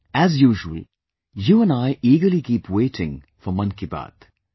As usual, you and I eagerly keep waiting for 'Mann Ki Baat'